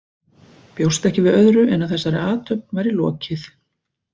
Bjóst ekki við öðru en að þessari athöfn væri lokið.